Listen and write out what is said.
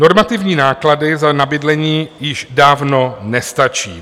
Normativní náklady na bydlení již dávno nestačí.